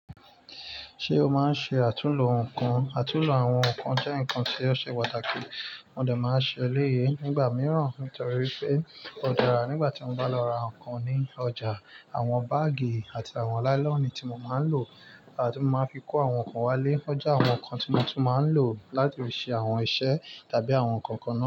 Ṣé o máa ń ṣe àtúnlò nnkàn? Àtúnlò àwọn nnkàn jẹ́ nnkàn tí o ṣe pàtàkì, mo dẹ̀ ma ṣe eléyì nígbà mìrán nítorí pé ó dára nígbàtí mo bá lọ rà nǹkan ní ọjà, àwọn baagi àti àwọn láìlọ́nì tí mo ma ń lò tí ma fi kó àwọn nnkàn wá lé, ó jẹ́ àwọn nnkàn tí mo tún ma ń lò láti fi ṣe àwọn iṣẹ́ tàbí àwọn nǹkan kan náà.